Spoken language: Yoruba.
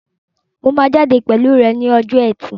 Mo máa jáde pẹ̀lú rẹ ní ọjọ́ ẹtì